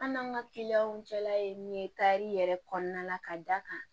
An n'an ka kiliyanw cɛla ye min ye kari yɛrɛ kɔnɔna la ka d'a kan